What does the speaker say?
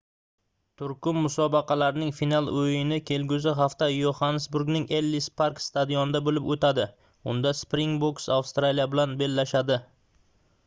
turkum musobaqalarning final oʻyini kelgusi hafta yoxannesburgning ellis park stadionida boʻlib oʻtadi unda springbooks avstraliya bilan bellashadi